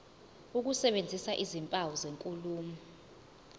ukusebenzisa izimpawu zenkulumo